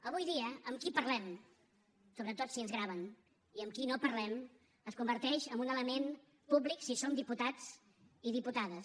avui dia amb qui parlem sobretot si ens graven i amb qui no parlem es converteix en un element públic si som diputats i diputades